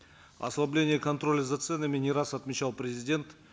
ослабление контроля за ценами не раз отмечал президент